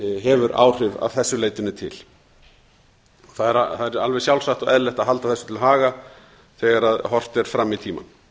hefur áhrif að þessu leytinu til það er alveg sjálfsagt og eðlilegt að halda þessu til haga þegar horft er fram í tímann